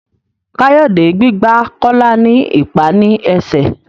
Kayode gbígbà Kola ní ipá ní esè.